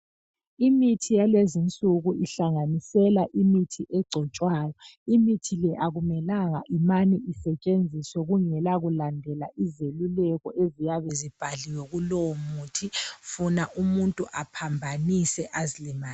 Imithi yalezinsuku ihlanganisela imithi egcotshwayo. Imithi le akumelanga imane isetshenziswe kungela kulandela izelulelko eziyabe zibhaliwe kulowomuthi funa umuntu aphambanise azilimaze.